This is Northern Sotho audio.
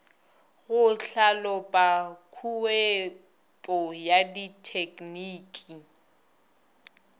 go hlalopa khuetpo ya dithekniki